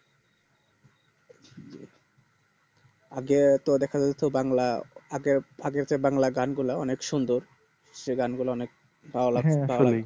আগেও তো দেখে যাচ্ছে বাংলা আগের আগেতো বাংলা গানগুলা অনেক সুন্দর সে গান গুলা অনেক